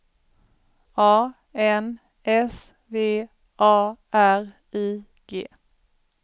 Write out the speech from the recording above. A N S V A R I G